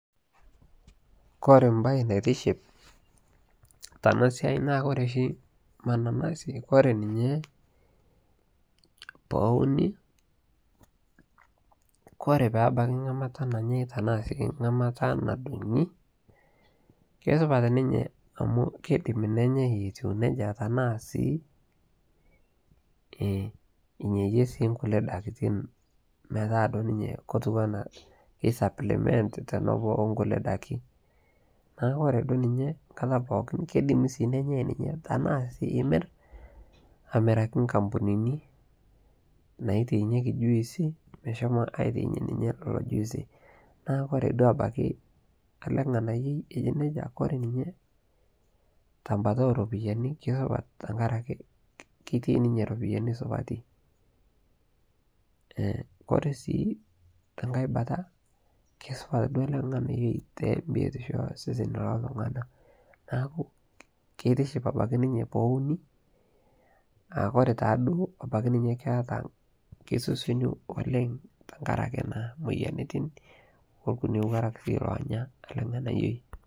kore ntokiii naitiship tana siai naa kore mananazi tenebaki ngamata nadungii, naa keidimii nenyai etuu nejaa, nemirii sii pootumi silinkinii, keitibiriekii sii juicii namatii naa keret sesen